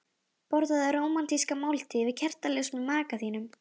Borðaðu rómantíska máltíð við kertaljós með maka þínum.